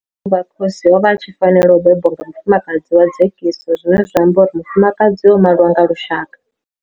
u vha khosi o vha a tshi fanela u bebwa nga mufumakadzi wa dzekiso zwine zwa amba uri mufumakadzi o maliwa nga lushaka.